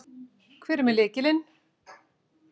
Hver er með lykilinn?